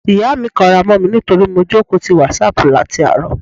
Ìyá mi kanra mó mi nítorí mo jókòó ti WhatsApp láti àárọ̀.